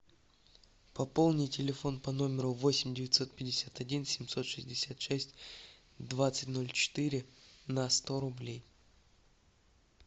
пополни телефон по номеру восемь девятьсот пятьдесят один семьсот шестьдесят шесть двадцать ноль четыре на сто рублей